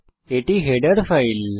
এটি header file